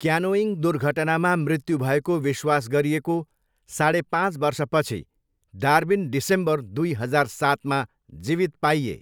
Canoeing दुर्घटनामा मृत्यु भएको विश्वास गरिएको साढे पाँच वर्षपछि डार्विन डिसेम्बर दुई हजार सातमा जीवित पाइए।